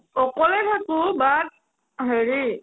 অকলে থাকো but হেৰি